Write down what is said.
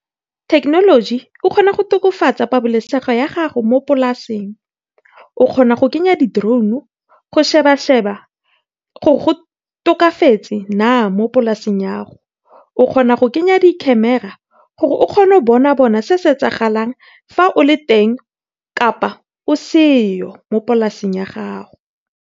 Thekenoloji e kgona go tokofatsa pabalesego ya gago mo polaseng, o kgona go kenya di drone go sheba sheba gore go tokafetse na mo polaseng ya go. O kgona go kenya di camera gore o kgone go bona bona se se etsagalang fa o teng kapa o seyo mopolaseng ya gago.